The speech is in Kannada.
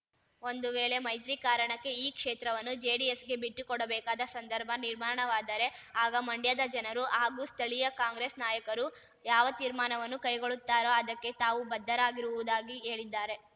ಒಂದು ವೇಳೆ ಮೈತ್ರಿ ಕಾರಣಕ್ಕೆ ಈ ಕ್ಷೇತ್ರವನ್ನು ಜೆಡಿಎಸ್‌ಗೆ ಬಿಟ್ಟುಕೊಡಬೇಕಾದ ಸಂದರ್ಭ ನಿರ್ಮಾಣವಾದರೆ ಆಗ ಮಂಡ್ಯದ ಜನರು ಹಾಗೂ ಸ್ಥಳೀಯ ಕಾಂಗ್ರೆಸ್‌ ನಾಯಕರು ಯಾವ ತೀರ್ಮಾನವನ್ನು ಕೈಗೊಳ್ಳುತ್ತಾರೋ ಅದಕ್ಕೆ ತಾವು ಬದ್ಧರಾಗಿರುವುದಾಗಿ ಹೇಳಿದ್ದಾರೆ